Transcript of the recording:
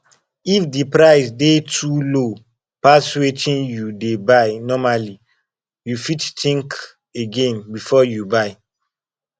if di price dey too low pass wetin you dey buy normally you fit think again before you buy